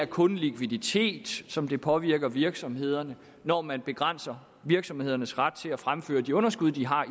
kun likviditet som der påvirker virksomhederne når man begrænser virksomhedernes ret til at fremføre de underskud de har